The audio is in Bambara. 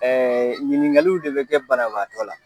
ɲiniŋaliw de bɛ kɛ banabaatɔ la